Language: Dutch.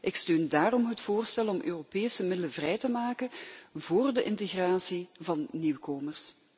Ik steun daarom het voorstel om Europese middelen vrij te maken voor de integratie van nieuwkomers.